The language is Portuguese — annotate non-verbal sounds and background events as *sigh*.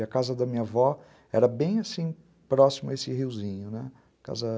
E a casa da minha avó era bem próximo a esse riozinho, né, *unintelligible*